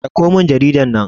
dauko min jaridar nan!